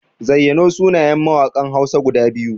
Zayyano sunayen mawaƙan Hausa guda biyu.